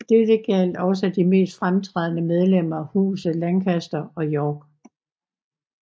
Dette gjaldt også de mest fremtrædende medlemmer af husene Lancaster og York